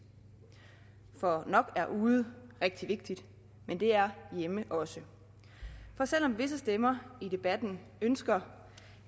for nok er ude rigtig vigtigt men det er hjemme også for selv om visse stemmer i debatten ønsker